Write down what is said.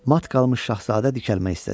Mat qalmış şahzadə dikəlmək istədi.